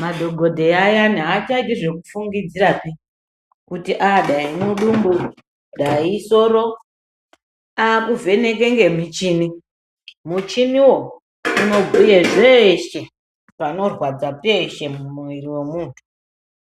madhokodheya ayani achaiti zvekufungidzirapi kuti Dai mudumbu, Dai isoro, akuvheneke nemuchini. Muchiniwo unobhuye zveshe panorwadza. peshe mumwiri wemuntu.